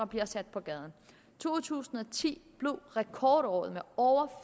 bliver sat på gaden to tusind og ti blev rekordåret med over